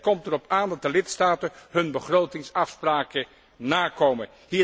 Het komt erop aan dat de lidstaten hun begrotingsafspraken nakomen.